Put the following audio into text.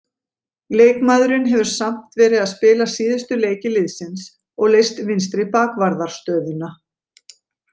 Leikmaðurinn hefur samt verið að spila síðustu leiki liðsins og leyst vinstri bakvarðarstöðuna.